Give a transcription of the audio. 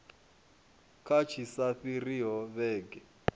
kha tshi sa fhiriho vhege